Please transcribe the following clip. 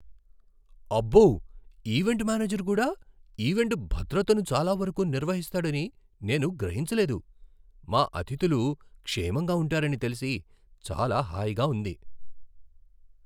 అబ్బో! Event manager కూడా event భద్రతను చాలా వరకు నిర్వహిస్తాడని నేను గ్రహించలేదు! మా అతిథులు క్షేమంగా ఉంటారని తెలిసి చాలా హాయిగా ఉంది.